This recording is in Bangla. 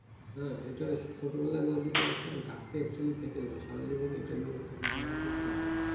হ্যাঁ এটাই সারাজীবন থেকে যাই সারা বছর এটাকে ধারণ করতে হবে